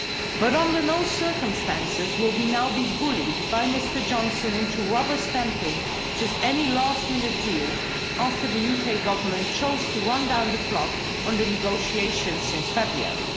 But under no circumstances will we now be bullied by Mr Johnson into rubber stamping just any last-minute deal after the UK Government chose to run down the clock on the negotiations since February.